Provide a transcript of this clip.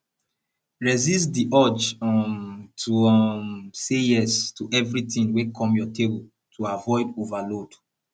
resist di urge um to um say yes to everything wey come your table to avoid overload